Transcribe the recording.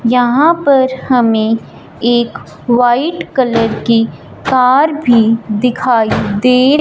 यहां पर हमें एक वाइट कलर की कार भी दिखाई दे--